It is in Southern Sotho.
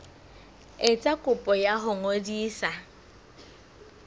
etsa kopo ya ho ngodisa